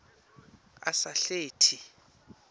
asahleti